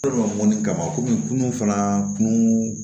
kama kunun fana kun